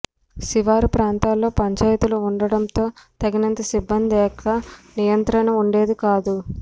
శివారు ప్రాంతాల్లో పంచాయతీలు ఉండటంతో తగినంత సిబ్బంది లేక నియంత్రణ ఉండేది కాదు